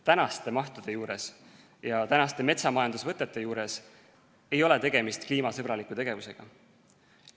Praeguste mahtude ja metsamajandusvõtete puhul ei ole tegemist kliimasõbraliku tegevusega.